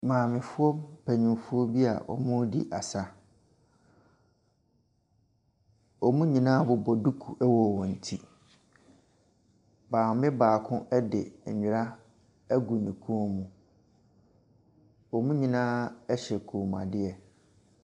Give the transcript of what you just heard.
Maamefoɔ mpanyinfoɔ bia ɔɔdi asa. Wɔn nyinaa bobɔ duku wɔ wɔn ti. Maame baako de ndra ɛgu ne kɔn mu. Wɔn nyinaa hyɛ kɔnmuadeɛ.